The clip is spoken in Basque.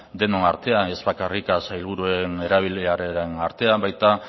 denon artean ez bakarrik sailburuen erabileraren artean baita